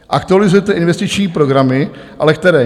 Aktualizujete investiční programy, ale které?